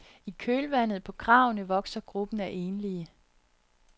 I kølvandet på kravene vokser gruppen af enlige.